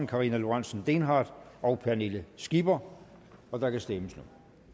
karina lorentzen dehnhardt og pernille skipper og der kan stemmes